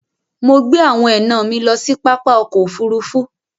Mọ̀ gbẹ awọn ẹna mi lọ sí pápá ọkọ̀ òfurufú.